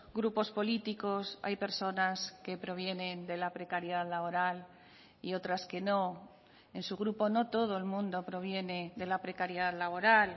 grupos políticos hay personas que provienen de la precariedad laboral y otras que no en su grupo no todo el mundo proviene de la precariedad laboral